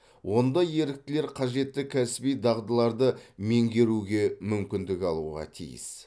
онда еріктілер қажетті кәсіби дағдыларды меңгеруге мүмкіндік алуға тиіс